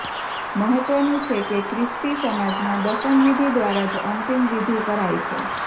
મહત્વનું છે કે ખ્રિસ્તી સમાજમાં દફનવિધિ દ્વારા જ અંતિમ વિધિ કરાય છે